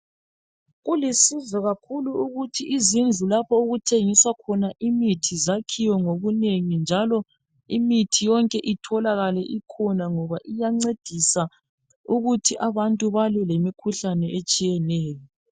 Kulusizo ukuthi izindlu lapho okuthengiswa khona imithi zakhiwe ngobunengi njalo imithi yonke itholakale ikhona ngoba iyancedisa ukuthi abantu balwe lemikhuhlane etshiyeneyo.